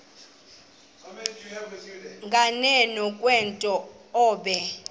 nganeno kwento obe